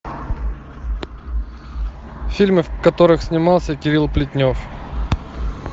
фильмы в которых снимался кирилл плетнев